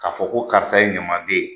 K'a fɔ ko karisa ye ɲamaden ye.